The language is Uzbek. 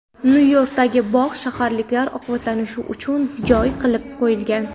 Nyu-Yorkdagi bog‘, shaharliklar ovqatlanishi uchun joy qilib qo‘yilgan.